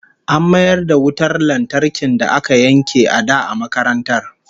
An mayar da wutar lantarkin da aka yanke a da a makarantar